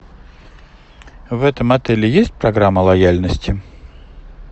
в этом отеле есть программа лояльности